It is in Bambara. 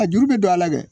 A juru bɛ don a la dɛ